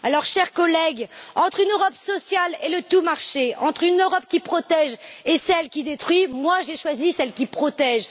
Chers collègues, entre une Europe sociale et le tout marché, entre une Europe qui protège et celle qui détruit, moi j'ai choisi celle qui protège.